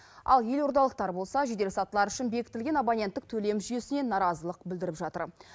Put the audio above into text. ал елордалықтар болса жеделсатылар үшін бекітілген абоненттік төлем жүйесіне наразылық білдіріп жатыр